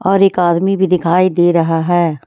और एक आदमी भी दिखाई दे रहा है।